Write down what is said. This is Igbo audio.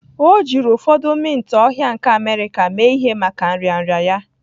O jiri ụfọdụ mint ohia nke America mee ihe maka nrịanrịa ya